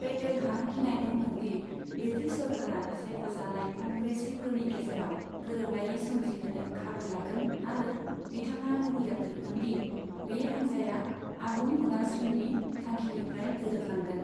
पेटेलहा गिनाय दंमोन दि ब्रिटिस सोरखारा सायख'जानाय कंग्रेसिफोरनि गेजेराव गोरोबलायै सोमजिहोनो खाबु लागोन आरो बिथाङा लुबैयाखैमोन दि बे हानजाया आबुं उदांश्रीनि थांखिनिफ्राय दोरोदलांगोन।